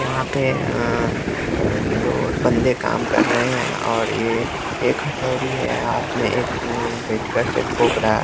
यहाँ पे अ दो बंदे काम कर रहे हैं और यह एक हठौड़ी है हाथ में एक अ पेचकस से ठोक रहा।